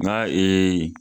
Nka